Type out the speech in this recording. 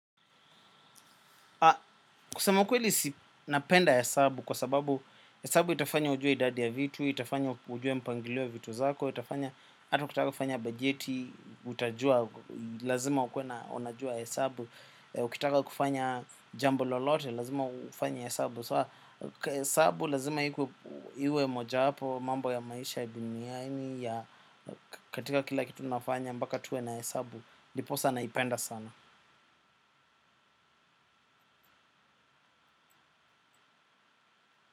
Kusema ukweli si napenda hesabu kwa sababu hesabu itafanya ujue idadi ya vitu, itafanya ujue mpangilio ya vitu zako, itafanya hata ukitaka ufanya bajeti, utajua, lazima ukue na unajua hesabu, ukitaka kufanya jambo lolote, lazima ufanye hesabu So hesabu lazima iku iwe moja wapo wa mambo ya maisha duniani ya katika kila kitu nafanya mbaka tuwe na hesabu, ndiposa naipenda sana.